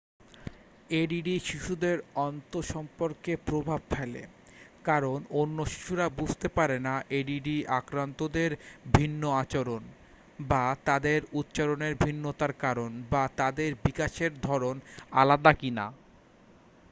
ADD শিশুদের আন্তসম্পর্কে প্রভাব ফেলে কারণ অন্য শিশুরা বুঝতে পারে না এডিডি আক্রান্তদের ভিন্ন আচরণ বা তাদের উচ্চারণের ভিন্নতার কারণ বা তাদের বিকাশের ধরণ আলাদা কিনা